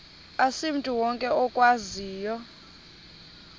asimntu wonke okwaziyo